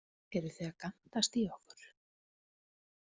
Eruð þið að gantast í okkur?